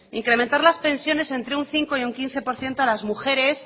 incrementar las pensiones entre un cinco y un quince por ciento a las mujeres